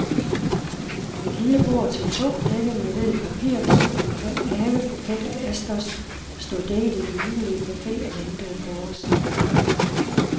Et lille bord til to, dækket med hvid papirdug og en køn havebuket af asters stod dækket i den hyggelige café og ventede på os.